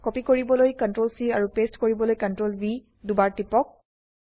copy কৰিবলৈ CTRL C আৰু paste কৰিবলৈ CTRLV দুইবাৰ টিপক